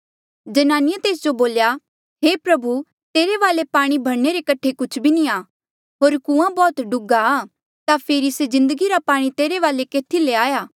जनानिये तेस जो बोल्या हे प्रभु तेरे वाले पाणी भरणे रे कठे कुछ भी नी आ होर कुंआं बौह्त डुघ्हा ता फेरी से जिन्दगी रा पाणी तेरे वाले केथी ले आया